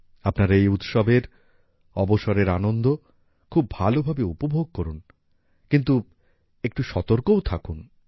আপনারা এই উৎসবের অবসরের আনন্দ খুব ভালোভাবে উপভোগ করুন কিন্তু একটু সতর্কও থাকুন